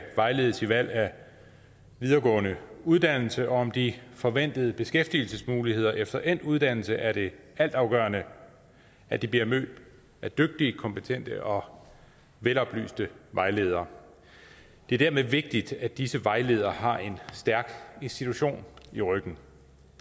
vejledes i valg af videregående uddannelse og om de forventede beskæftigelsesmuligheder efter endt uddannelse er det altafgørende at de bliver mødt af dygtige kompetente og veloplyste vejledere det er dermed vigtigt at disse vejledere har en stærk institution i ryggen